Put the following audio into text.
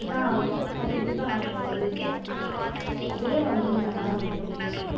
கத்துக்கிட்டுதான் ஆகணும் கத்துக்கிட்டுதான் ஆகணும் வேற வழியில்ல அதுவே வந்துரும் தன்னால வந்துரும்